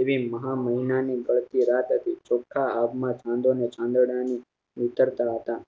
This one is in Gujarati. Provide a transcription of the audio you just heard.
એવી મહા મહિના ની બળતી રાત હતી ચોખા આગમાં ચંડોળાની નીતરતા હતા